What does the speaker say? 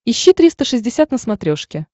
ищи триста шестьдесят на смотрешке